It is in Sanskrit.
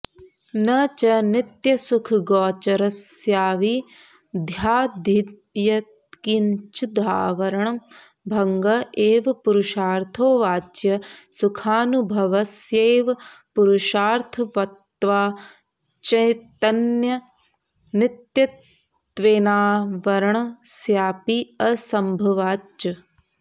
न च नित्यसुखगोचरस्याविद्यादियत्किञ्चिदावरणभङ्ग एव पुरुषार्थो वाच्यः सुखानुभवस्यैव पुरुषार्थत्वाच्चैतन्यनित्यत्वेनावरणस्यापि असम्भवाच्च